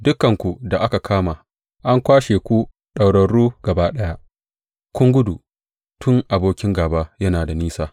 Dukanku da aka kama an kwashe ku ɗaurarru gaba ɗaya, kun gudu tun abokin gāba yana da nisa.